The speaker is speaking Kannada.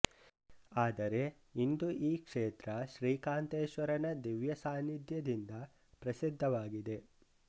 ಆದರೆ ಇಂದು ಈ ಕ್ಷೇತ್ರ ಶ್ರೀಕಾಂತೇಶ್ವರನ ದಿವ್ಯ ಸಾನಿಧ್ಯದಿಂದ ಪ್ರಸಿದ್ಧವಾಗಿದೆ